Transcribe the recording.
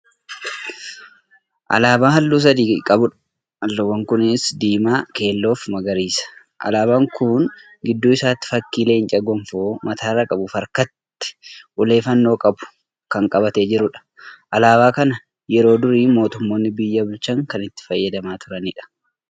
Alaabaa halluu sadi qabudha. halluuwwan kunniinis:diimaa, keelloofi magariisa. alaabaan Kuni gidduu isaatti fakkiin leencaa gonfoo mataarraa qabufi harkatti ulee fannoo qabu Kan qabatee jiruudha. alaabaa kana yeroo durii mootummoonni biyya bulchan Kan itti fayyadamaa turaniidha.